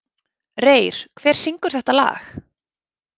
Reyr, hver syngur þetta lag?